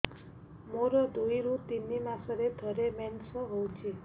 ମୋର ଦୁଇରୁ ତିନି ମାସରେ ଥରେ ମେନ୍ସ ହଉଚି